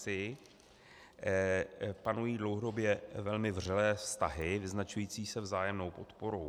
Si panují dlouhodobě velmi vřelé vztahy vyznačující se vzájemnou podporou.